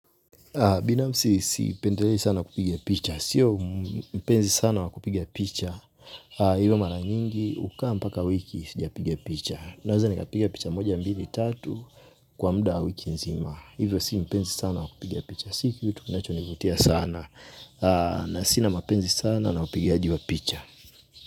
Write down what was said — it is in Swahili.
Binafsi sipendelei sana kupigia picha. Sio mpenzi sana wa kupigia picha. Hivyo mara nyingi hukaa mpaka wiki sijapigia picha. Naweza nikapigia picha moja mbili tatu kwa muda wa wiki nzima. Hivyo si mpenzi sana wa kupigia picha. Si kitu kinachonivutia sana. Na sina mpenzi sana na upigaji wa picha.